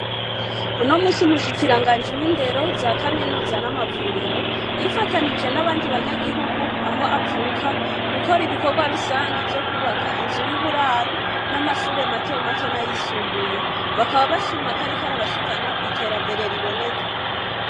Uno munsi Umushikiranganji w'Indero, za Kaminuza n'amavuriro, yifatanije n'abandi banyagihugu aho avuka, gukora ibikorwa rusangi vyo kwubaka inzu y'uburaro, n'amashure matomato n'ayisumbuye. Bakaba bashima ko ariko arabashikana kw'iterambere riboneka.